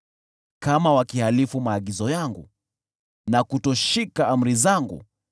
kama wakihalifu maagizo yangu na kutoshika amri zangu,